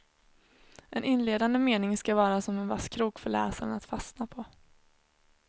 En inledande mening ska vara som en vass krok för läsaren att fastna på.